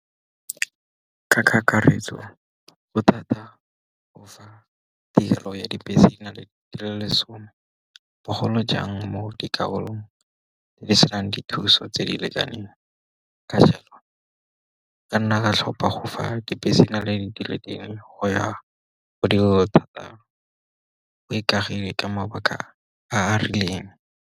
Ka kakaretso go thata go fa tirelo ya dibese di lesome, bogolo jang mo dikarolong tse di senang dithuso tse di lekaneng. Ka jalo ka nna ka tlhopa go fa dibese go ya go di thata go ikagilwe ka mabaka a a rileng.